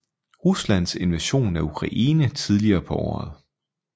Ruslands invasion af Ukraine tidligere på året